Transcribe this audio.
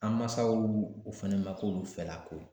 An mansaw o fɛnɛ ma k'olu fɛlako ye